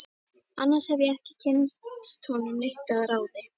Annars hef ég ekki kynnst honum neitt að ráði.